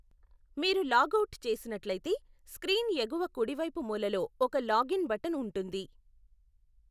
మీరు లాగ్అవుట్ చేసినట్లయితే, స్క్రీన్ ఎగువ కుడివైపు మూలలో ఒక లాగిన్ బటన్ ఉంటుంది.